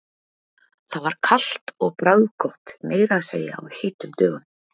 Það var kalt og bragðgott, meira að segja á heitum dögum.